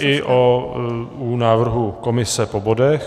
Čili i u návrhu komise po bodech.